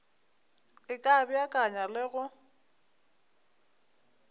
e ka beakanya le go